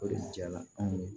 O de jala